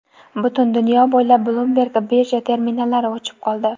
Butun dunyo bo‘ylab Bloomberg birja terminallari o‘chib qoldi.